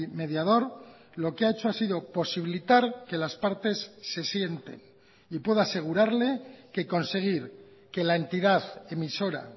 mediador lo que ha hecho ha sido posibilitar que las partes se sienten y puedo asegurarle que conseguir que la entidad emisora